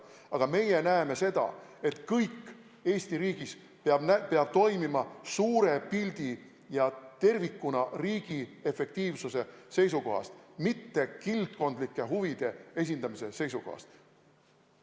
Aga meie näeme seda, et kõik Eesti riigis peab toimima suure pildi ja tervikuna riigi efektiivsuse seisukohast, mitte kildkondlike huvide esindamise seisukohast.